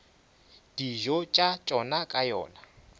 dijo tša tšona ka yona